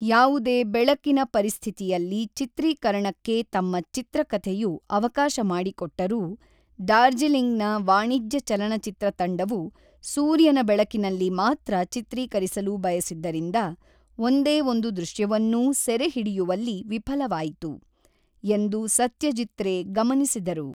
ಯಾವುದೇ ಬೆಳಕಿನ ಪರಿಸ್ಥಿತಿಯಲ್ಲಿ ಚಿತ್ರೀಕರಣಕ್ಕೆ ತಮ್ಮ ಚಿತ್ರಕಥೆಯು ಅವಕಾಶ ಮಾಡಿಕೊಟ್ಟರೂ, ಡಾರ್ಜಿಲಿಂಗ್‌ನ ವಾಣಿಜ್ಯ ಚಲನಚಿತ್ರ ತಂಡವು ಸೂರ್ಯನ ಬೆಳಕಿನಲ್ಲಿ ಮಾತ್ರ ಚಿತ್ರೀಕರಿಸಲು ಬಯಸಿದ್ದರಿಂದ, ಒಂದೇ ಒಂದು ದೃಶ್ಯವನ್ನೂ ಸೆರೆಹಿಡಿಯುವಲ್ಲಿ ವಿಫಲವಾಯಿತು, ಎಂದು ಸತ್ಯಜೀತ್ ರೇ ಗಮನಿಸಿದರು.